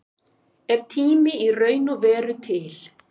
Er tími í raun og veru til?